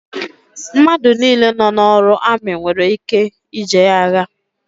Mmadụ nile nọ n'ọrụ amị nwèrè ike ije agha